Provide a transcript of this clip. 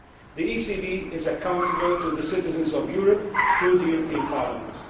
The ECB is accountable to the citizens of Europe through the European Parliament.